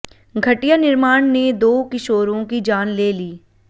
घटिया निर्माण ने दो किशोरों की जान ले ली